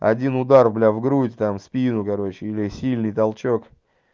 один удар бля в грудь там в спину короче или сильный толчок